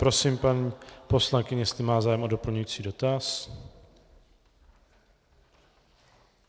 Prosím paní poslankyni, jestli má zájem o doplňující dotaz.